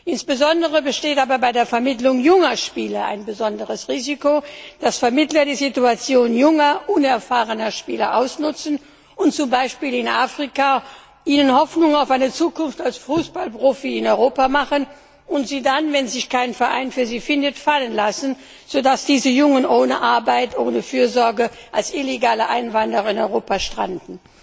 Insbesondere besteht aber bei der Vermittlung junger Spieler ein besonderes Risiko, dass Vermittler die Situation junger, unerfahrener Spieler ausnutzen und ihnen zum Beispiel in Afrika Hoffnung auf eine Zukunft als Fußballprofi in Europa machen und sie dann, wenn sich kein Verein für sie findet, fallen lassen, so dass diese Jungen ohne Arbeit, ohne Fürsorge als illegale Einwanderer in Europa stranden.